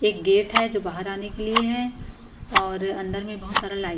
एक गेट है जो बाहर आने के लिए है और अंदर में बहुत सारा लाई --